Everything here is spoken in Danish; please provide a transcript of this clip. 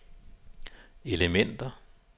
elementer